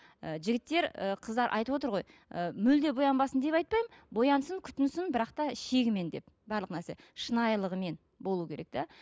ы жігіттер ы қыздар айтып отыр ғой ы мүлдем боянбасын деп айтпаймын боянсын күтінсін бірақ та шегімен деп барлық нәрсе шынайлығымен болу керек те